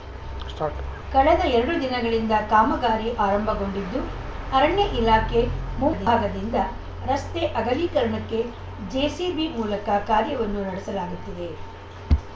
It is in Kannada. ಸ್ಟಾರ್ಟ್ ಕಳೆದ ಎರಡು ದಿನಗಳಿಂದ ಕಾಮಗಾರಿ ಆರಂಭಗೊಂಡಿದ್ದು ಅರಣ್ಯ ಇಲಾಖೆ ಮುಂಭಾಗದಿಂದ ರಸ್ತೆ ಅಗಲೀಕರಣಕ್ಕೆ ಜೆಸಿಬಿ ಮೂಲಕ ಕಾರ್ಯವನ್ನು ನಡೆಸಲಾಗುತ್ತಿದೆ